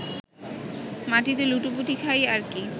মাটিতে লুটোপুটি খাই আর কি